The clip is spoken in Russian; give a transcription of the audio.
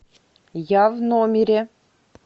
я в номере